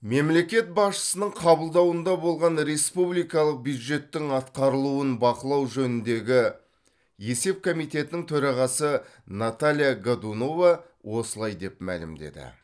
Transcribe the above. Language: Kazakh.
мемлекет басшысының қабылдауында болған республикалық бюджеттің атқарылуын бақылау жөніндегі есеп комитетінің төрағасы наталья годунова осылай деп мәлімдеді